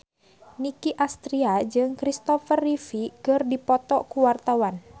Nicky Astria jeung Christopher Reeve keur dipoto ku wartawan